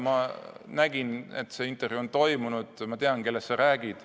Ma nägin, et see intervjuu on toimunud, ma tean, kellest sa räägid.